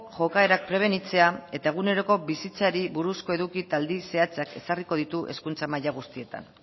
jokaerak prebenitzea eta eguneroko bizitzari buruzko eduki eta zehatzak ezarriko ditu hezkuntza maila guztietan